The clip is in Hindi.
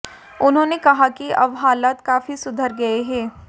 उन्होंने कहा कि अब हालात काफी सुधर गए हैं